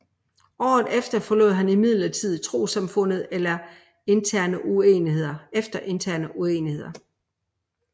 Året efter forlod han imidlertid trossamfundet efter interne uenigheder